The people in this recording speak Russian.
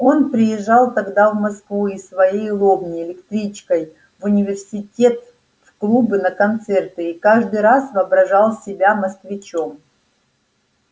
он приезжал тогда в москву из своей лобни электричкой в университет в клубы на концерты и каждый раз воображал себя москвичом